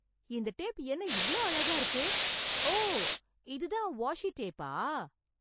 இந்த டேப் என்ன இவ்வளவு அழகா இருக்கு! ஓ! இது தான் வாஷி டேப்பா?!